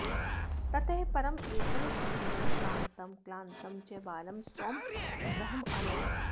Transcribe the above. ततः परं एकः सज्जनः श्रान्तं क्लान्तं च बालं स्वं गृहम् अनयत्